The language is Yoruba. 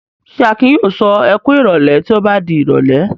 Ṣé Akin yóò sọ "ẹ kú ìrọ́lẹ́" tí ó bá di ìrọ́lẹ́?